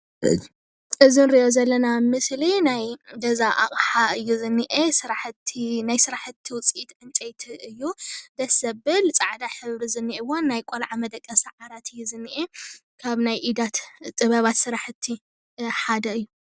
እዚ ንሪኦ ዘለና ምስሊ ናይ ገዛ ኣቅሓ እዩ ዝኒአ ናይ ስራሕቲ ውፅኢት ዕንጨይቲ እዩ ደስ ዘብለ ፃዕዳ ሕብሪ ዝኒኦወን ናይ ቆልዓ መደቀሲ ዓራት እዩ ዝኒአ ካብ ናይ ኢዳት ጥበባት ስራሕቲ ሓደ